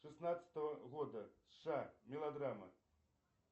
шестнадцатого года сша мелодрамы